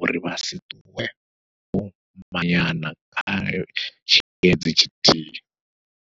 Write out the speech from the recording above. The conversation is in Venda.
uri vha si ṱuwe vho kwanyana kha tshiendedzi tshithihi.